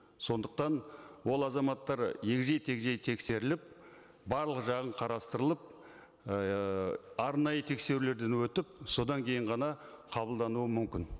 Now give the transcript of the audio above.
сондықтан ол азаматтар егжей тегжей тексеріліп барлық жағын қарастырылып ыыы арнайы тексерілуден өтіп содан кейін ғана қабылдануы мүмкін